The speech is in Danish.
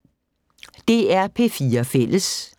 DR P4 Fælles